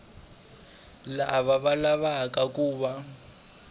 lava va lavaku ku va